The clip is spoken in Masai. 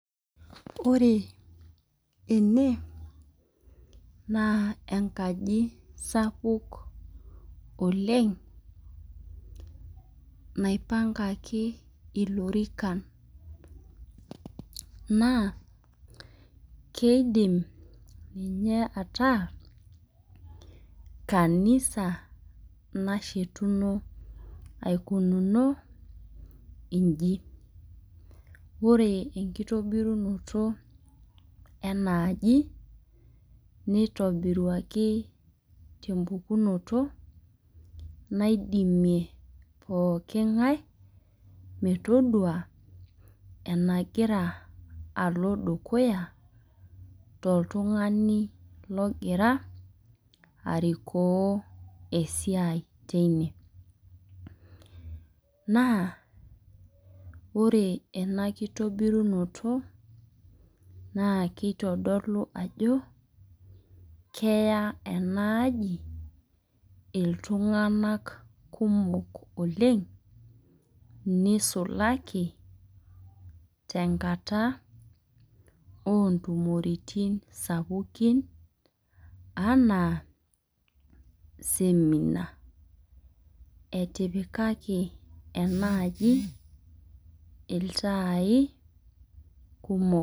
Ore ene naa enkaji sapuk oleng, naipangaki ilorikan. Naa keidim ninye ataa kanisa nashetuno aikununo iji. Ore ekitobirunoto ena aji nitobiruaki tepukunoto naidimie pooki ngae metodua enagira alo dukuya, toltungani logira arikoo esiai teine. Naa ore ena kitobirunoto naa kitodolu ajo keya ena aji iltunganak kumok oleng nisulaki tenkata ootumoritin sapukin, anaa, seminar etipikaki ena aji iltai kumok.